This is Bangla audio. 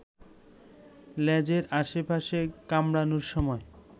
লেজের আশপাশে কামড়ানোর সময়